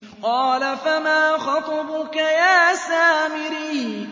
قَالَ فَمَا خَطْبُكَ يَا سَامِرِيُّ